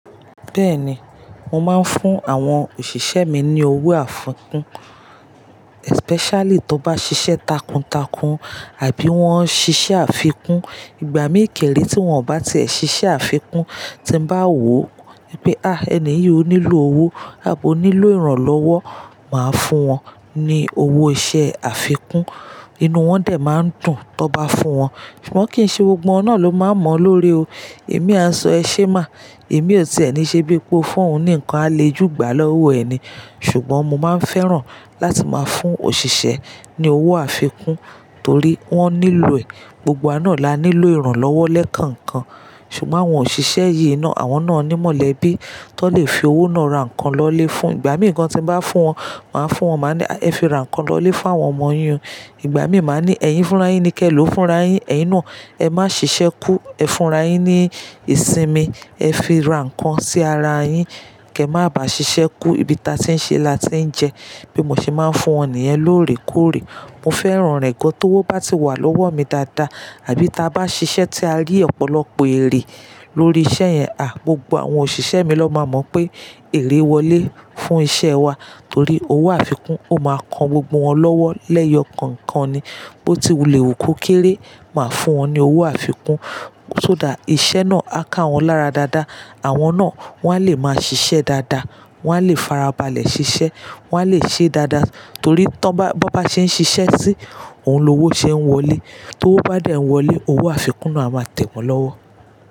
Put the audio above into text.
Bẹ́ẹ̀ni, mo máa ń fún àwọn òṣìṣẹ́ mi ní owó àfikún, especially tó bá ṣiṣẹ́ takuntakun àbí wọ́n ṣiṣẹ́ àfikún. Ìgbà míì kéré tí wọ́n ò bá ti ṣiṣẹ́ àfikún, tí mo bá wò pé, "à, ẹni yìí ò nílò owó àbí ò nílò ìrànlọ́wọ́", màá fún wọn ní owó iṣẹ́ àfikún. Inú wọn dè máa ń dùn tó bá fún wọn, ṣùgbọ́n kì í ṣe gbogbo wọn náà ló máa mọ̀ lórí o. Èmi asọ ẹ ṣé má, èmi ò ti ẹ́ ni ṣe bí pé ó fún òun ní nǹkan àlejùgbà lọ́wọ́ ẹni. Ṣùgbọ́n mo máa ń fẹ́ràn láti máa fún òṣìṣẹ́ ní owó àfikún torí wọ́n nílò ẹ̀. Gbogbo wa náà la nílò ìrànlọ́wọ́ lẹ́ẹ̀kan kan. Ṣùgbọ́n àwọn òṣìṣẹ́ yìí náà, àwọn náà ni mọ̀lẹ́bí tó lè fi owó náà ra nǹkan lọlé fún. Ìgbà míì gan tí mo bá fún wọn, màá fún wọn, màá ní, "ẹ fi ra nǹkan lọlé fún àwọn ọmọ yín." Ìgbà míì máa ní, "ẹyin fúnra yín ni kẹ ló fúnra yín. Ẹyin náà ẹ má ṣiṣẹ́ kú, ẹ fúnra yín ní ìsinmi, ẹ fi ra nǹkan sí ara yín, kẹ má bàá ṣiṣẹ́ kú." Ibi ta tí ń ṣe la ti ń jẹ. Bí mo ṣe máa ń fún wọn nìyẹn lóòrèkóòrè. Mo fẹ́ran rẹ̀ gan, owó tó bá ti wà lọ́wọ́ mi dáadáa àbí tá bá ṣiṣẹ́ tí a rí ọ̀pọ̀lọpọ̀ èrè lórí iṣẹ́ yẹn, à, gbogbo àwọn òṣìṣẹ́ mi ló máa mọ̀ pé ère wọlé fún iṣẹ́ wa torí owó àfikún ó máa kan gbogbo wọn lọ́wọ́ lẹ́ẹ̀ẹ̀yọ̀kankan ni. Bó ti wulẹ̀ wù kó kéré, màá fún wọn ní owó àfikún. Sodá iṣẹ́ náà á ká wọn lára dáadáa. Àwọn náà wọ́n á lè máa ṣiṣẹ́ dáadáa, wọ́n á lè farabalẹ̀ ṣiṣẹ́, wọ́n á lè ṣe dáadáa torí tun bọ́ bá ṣe ń ṣiṣẹ́ sí, òun ló owó ṣe ń wọlé. Tó owó bá dà ẹ́ wọlé, owó àfikún náà a máa tẹ̀ wọ́n lọ́wọ́.